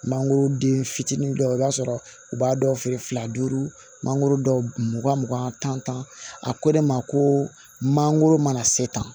Mangoro den fitinin dɔw i b'a sɔrɔ u b'a dɔw feere fila duuru mangoro dɔw mugan mugan tan tan a ko de ma ko mangoro mana se tan